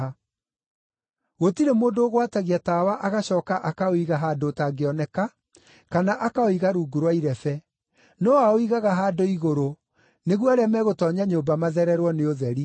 “Gũtirĩ mũndũ ũgwatagia tawa agacooka akaũiga handũ ũtangĩoneka kana akaũiga rungu rwa irebe, no aũigaga handũ igũrũ nĩguo arĩa megũtoonya nyũmba mathererwo nĩ ũtheri.